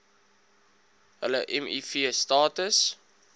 hulle miv status